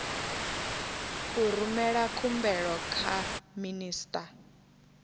u rumela khumbelo kha minista